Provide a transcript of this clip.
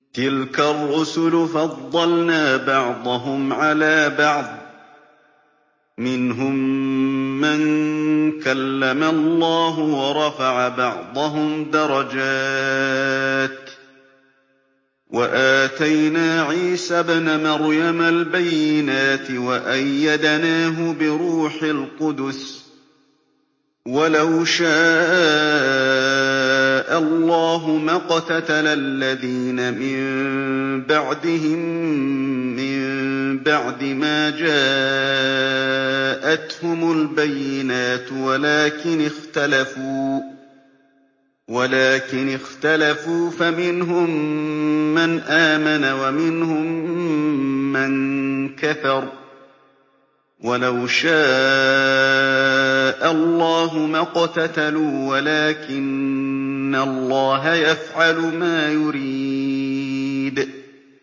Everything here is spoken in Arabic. ۞ تِلْكَ الرُّسُلُ فَضَّلْنَا بَعْضَهُمْ عَلَىٰ بَعْضٍ ۘ مِّنْهُم مَّن كَلَّمَ اللَّهُ ۖ وَرَفَعَ بَعْضَهُمْ دَرَجَاتٍ ۚ وَآتَيْنَا عِيسَى ابْنَ مَرْيَمَ الْبَيِّنَاتِ وَأَيَّدْنَاهُ بِرُوحِ الْقُدُسِ ۗ وَلَوْ شَاءَ اللَّهُ مَا اقْتَتَلَ الَّذِينَ مِن بَعْدِهِم مِّن بَعْدِ مَا جَاءَتْهُمُ الْبَيِّنَاتُ وَلَٰكِنِ اخْتَلَفُوا فَمِنْهُم مَّنْ آمَنَ وَمِنْهُم مَّن كَفَرَ ۚ وَلَوْ شَاءَ اللَّهُ مَا اقْتَتَلُوا وَلَٰكِنَّ اللَّهَ يَفْعَلُ مَا يُرِيدُ